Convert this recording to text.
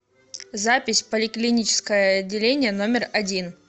запись поликлиническое отделение номер один